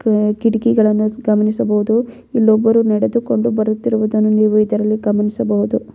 ಕ ಕಿಟಕಿಗಳನ್ನು ಗಮನಿಸಬಹುದು ಇಲ್ಲೊಬ್ಬರು ನಡೆದುಕೊಂಡು ಬರುತ್ತಿರುವುದನ್ನು ನೀವು ಇದರಲ್ಲಿ ಗಮನಿಸಬಹುದು.